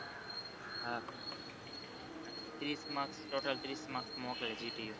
હા ત્રીશ marks total ત્રીશ marks મોકલે gtu